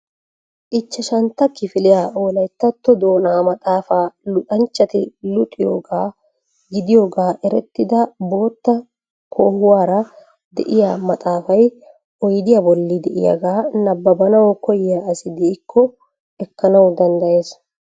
Ichashshantta kifiliyaa wolayttatto doona maxaafa luxanchxhati luxiyooga gidiyooga erettida bootta koohuwaara de'iyaa maxaafay oyddiyaa bolli de'iyaaga nabbaabanaw koyyiyaa asi de'ikko ekanaw danddayees.